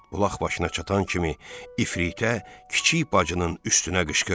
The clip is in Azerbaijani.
Bulaq başına çatan kimi ifritə kiçik bacının üstünə qışqırdı.